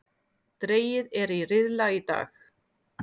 Dregið er í riðla í dag